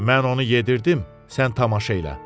Mən onu yedirdim, sən tamaşa elə.